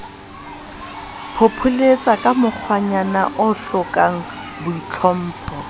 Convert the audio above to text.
phopholetsaka ka mokgwanyana o hlokangboitlhompho